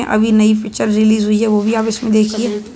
अभी नई picture release हुई है वो भी आप इसमें देखिए।